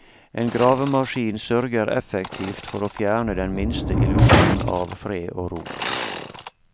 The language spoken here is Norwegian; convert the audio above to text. En gravemaskin sørger effektivt for å fjerne den minste illusjon av fred og ro.